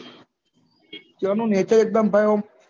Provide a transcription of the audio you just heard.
ત્યાં નું nature એક્દમ ભાઈ અમ